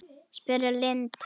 spurði Lind.